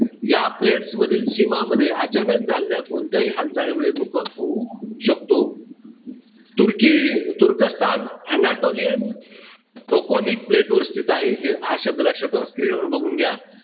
या plates मधील सीमामध्ये अचानक झालेल्या कोणत्याही हालचालीमुळे भूकंप होऊ शकतो. तुर्की तुर्कस्तान anatolian toconic plate वर स्थित आहे. हा शब्द लक्षात ठेवा. Screen वर बघून घ्या.